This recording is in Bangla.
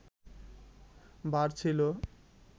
ভার ছিল